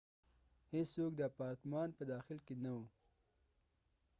هیڅوک د اپارتمان په داخل کې نه و